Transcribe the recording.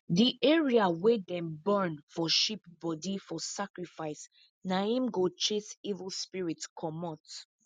the area wey them burn for sheep body for sacrifice na im go chase evil spirit comot